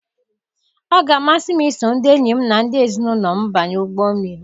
Ọ ga-amasị m iso ndị enyi m na ndị ezinụlọ m banye ụgbọ mmiri.